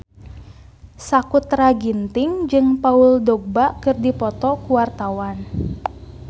Sakutra Ginting jeung Paul Dogba keur dipoto ku wartawan